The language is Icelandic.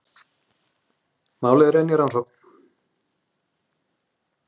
Málið er enn í rannsókn